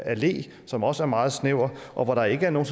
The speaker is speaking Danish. allé som også er meget snæver og hvor der ikke er nogen